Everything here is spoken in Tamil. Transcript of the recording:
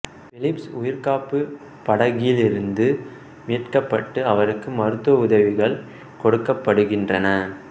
பிலிப்சு உயிர்காப்புப் படகிலிருந்து மீட்கப்பட்டு அவருக்கு மருத்துவ உதவிகள் கொடுக்கப்படுகின்றன